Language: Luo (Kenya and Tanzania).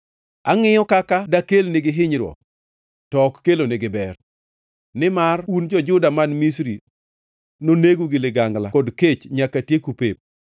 Angʼiyo kaka dakelnegi hinyruok, to ok kelonegi ber; nimar un jo-Yahudi man Misri nonegu gi ligangla kod kech nyaka tieku pep.